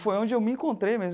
Foi onde eu me encontrei mesmo.